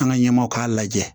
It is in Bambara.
An ka ɲɛmaaw k'a lajɛ